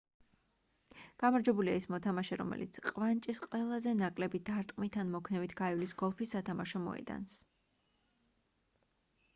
გამარჯვებულია ის მოთამაშე რომელიც ყვანჭის ყველაზე ნაკლები დარტყმით ან მოქნევით გაივლის გოლფის სათამაშო მოედანს